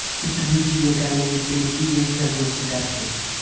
ਇਕ ਦੂਜੀ ਦੇ ਕੰਨ ਵਿੱਚ ਨਿੱਕੀ ਜਿਹੀ ਸਰਗੋਸ਼ੀ ਕਰਕੇ